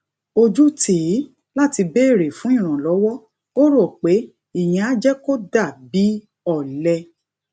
ojú tì í láti béèrè fún ìrànlówó ó rò pé ìyẹn á jé kó dà bí ole